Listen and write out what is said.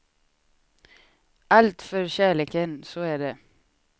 Allt för kärleken, så är det.